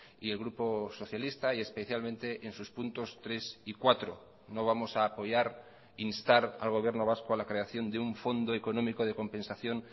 y el grupo socialista y especialmente en sus puntos tres y cuatro no vamos a apoyar instar al gobierno vasco a la creación de un fondo económico de compensación